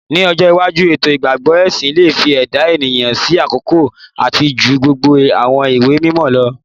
Ni ojo iwaju eto igbagbọ ẹsin le fi ẹda eniyan si akọkọ ati ju gbogbo awọn iwe-mimọ lọ